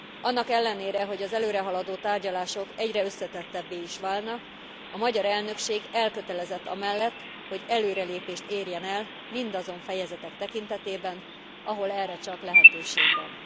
Annak ellenére, hogy az előrehaladott tárgyalások egyre összetettebbé is válnak, a magyar elnökség elkötelezett amellett, hogy előrelépést érjen el mindazon fejezetek tekintetében, ahol erre csak lehetőség van.